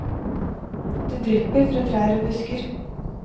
Det drypper fra trær og busker.